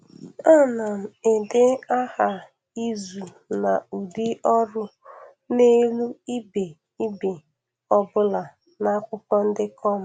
A na m ede aha izu na ụdị-ọrụ n’elu ibe ibe ọ bụla n’akwụkwọ ndekọ m.